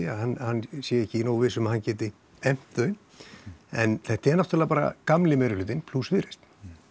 að hann sé ekki nógu viss um að hann geti efnt þau en þetta er náttúrulega bara gamli meirihlutinn plús Viðreisn